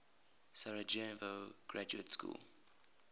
sarajevo graduate school